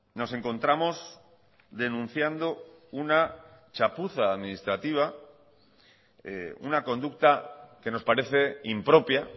nos encontramos denunciando una chapuza administrativa una conducta que nos parece impropia